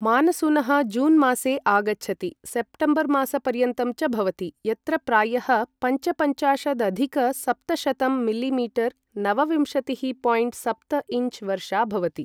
मानसूनः जूनमासे आगच्छति, सेप्टेम्बरमासपर्यन्तं च भवति, यत्र प्रायः पञ्चपञ्चाशदधिक सप्तशतं मिलि मीटर् नवविंशतिः. सप्तइञ्च् वर्षा भवति ।